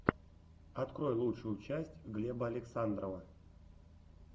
открой лучшую часть глеба александрова